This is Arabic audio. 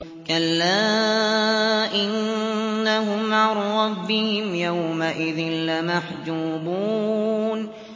كَلَّا إِنَّهُمْ عَن رَّبِّهِمْ يَوْمَئِذٍ لَّمَحْجُوبُونَ